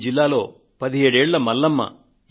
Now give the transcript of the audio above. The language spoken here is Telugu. ఈ జిల్లాలో 17 ఏళ్ళ మల్లమ్మ